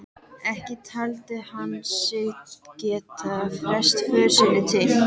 Ekki taldi hann sig geta frestað för sinni til